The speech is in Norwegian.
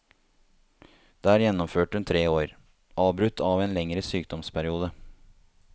Der gjennomførte hun tre år, avbrutt av en lengre sydomsperiode.